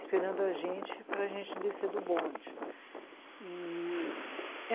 esperando a gente para a gente descer do bonde e...